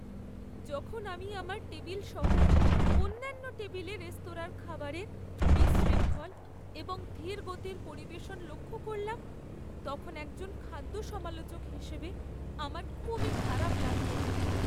যখন আমি আমার টেবিল সহ অন্যান্য টেবিলে রেস্তোরাঁর খাবারের বিশৃঙ্খল এবং ধীর গতির পরিবেশন লক্ষ করলাম, তখন একজন খাদ্য সমালোচক হিসেবে আমার খুবই খারাপ লাগল।